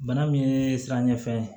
Bana min ye sira ɲɛfɛ